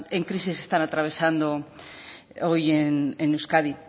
en crisis están atravesando hoy en euskadi